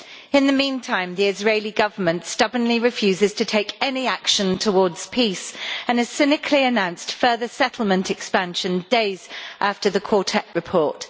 In the meantime, the Israeli Government stubbornly refuses to take any action towards peace and has cynically announced further settlement expansion, days after the Quartet report.